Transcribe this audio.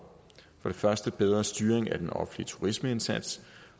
for det første en bedre styring af den offentlige turismeindsats